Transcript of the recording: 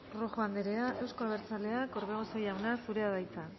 rojo anderea euzko abertzaleak orbegozo jauna zurea da hitza